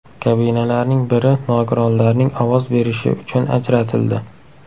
Kabinalarning biri nogironlarning ovoz berishi uchun ajratildi.